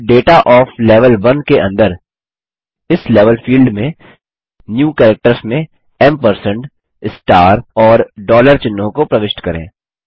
अब data of level 1 के अंदर इस लेवल फील्ड में न्यू कैरेक्टर्स में एम्पर्संड स्टार और डॉलर चिह्नों को प्रविष्ट करें